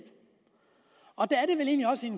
også i